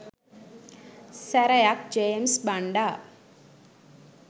සැරයක් ජේමිස් බණ්ඩා